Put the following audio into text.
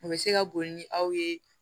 U bɛ se ka boli ni aw ye